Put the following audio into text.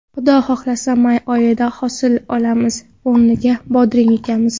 Xudo xohlasa, may oyida hosil olamiz, o‘rniga bodring ekamiz.